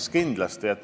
Jah, kindlasti.